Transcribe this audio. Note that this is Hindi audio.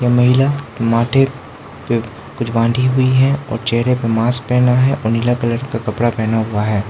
यह महिला माथे पे कुछ बांधी हुई है और चेहरे पर मास्क पेहना है और नीला कलर का कपड़ा पेहना हुआ है।